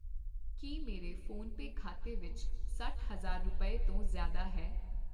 ਕੀ ਮੇਰੇ ਫੋਨਪੇ ਖਾਤੇ ਵਿੱਚ ਸੱਠ ਹਜ਼ਾਰ ਰੁਪਏ ਤੋਂ ਜ਼ਿਆਦਾ ਹੈ ?